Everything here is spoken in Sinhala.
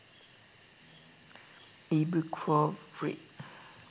ebooks for free